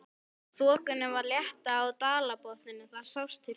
Þokunni var að létta af dalbotninum, það sást til fjalla.